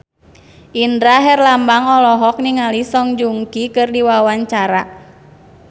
Indra Herlambang olohok ningali Song Joong Ki keur diwawancara